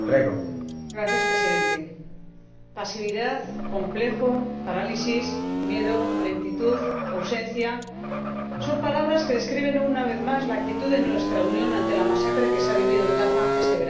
Señor Presidente, pasividad, complejo, parálisis, miedo, lentitud, ausencia son palabras que describen, una vez más, la actitud de nuestra Unión ante la masacre que se ha vivido en Gaza este verano.